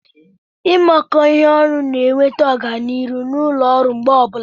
imekọ ihe ọnụ na-eweta ọganihu na ụlọ ọrụ mgbe ọbụla.